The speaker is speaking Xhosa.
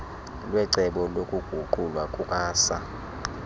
kwecebo lokuguqulwa kukasaa